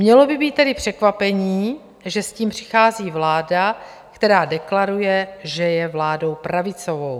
Mělo by být tedy překvapením, že s tím přichází vláda, která deklaruje, že je vládou pravicovou.